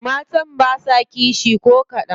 Matan basa kishi ko kadan.